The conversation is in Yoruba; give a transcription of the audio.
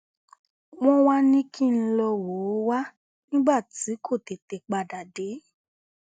wọn wàá ní kí n n lọọ wò ó wà nígbà tí kò tètè padà dé